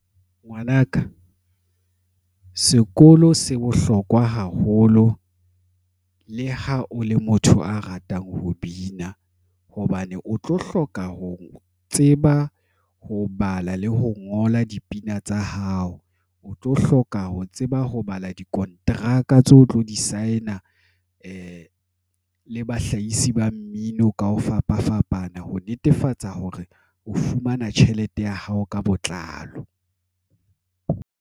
Ngwanaka sekolo se bohlokwa haholo. Le ha o le motho a ratang ho bina hobane o tlo hloka ho tseba, ho bala le ho ngola dipina tsa hao, o tlo hloka ho tseba ho bala dikonteraka tse o tlo di sign-a le bahlahisi ba mmino ka ho fapafapana ho netefatsa hore o fumana tjhelete ya hao ka botlalo.